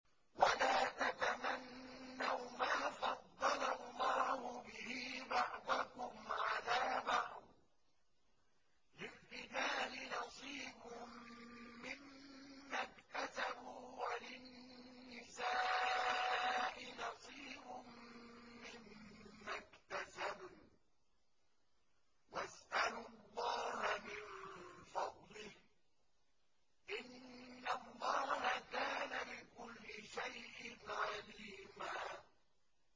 وَلَا تَتَمَنَّوْا مَا فَضَّلَ اللَّهُ بِهِ بَعْضَكُمْ عَلَىٰ بَعْضٍ ۚ لِّلرِّجَالِ نَصِيبٌ مِّمَّا اكْتَسَبُوا ۖ وَلِلنِّسَاءِ نَصِيبٌ مِّمَّا اكْتَسَبْنَ ۚ وَاسْأَلُوا اللَّهَ مِن فَضْلِهِ ۗ إِنَّ اللَّهَ كَانَ بِكُلِّ شَيْءٍ عَلِيمًا